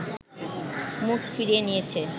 মুখ ফিরিয়ে নিয়েছে